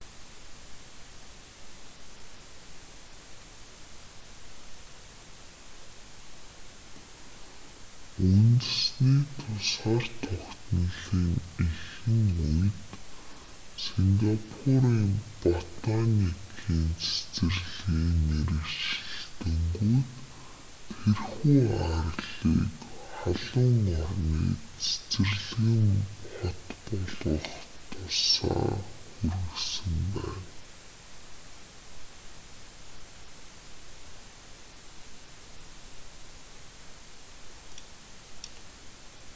үндэсний тусгаар тогтнолын эхэн үед сингапурийн батоникийн цэцэрлэгийн мэргэжилтэнгүүд тэрхүү арлыг халуун орны цэцэрлэгэн хот болоход тусаа хүргэсэн байна